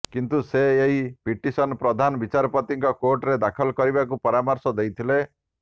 କିନ୍ତୁ ସେ ଏହି ପିଟିସନ ପ୍ରଧାନ ବିଚାରପତିଙ୍କ କୋର୍ଟରେ ଦାଖଲ କରିବାକୁ ପରାମର୍ଶ ଦେଇଥିଲେ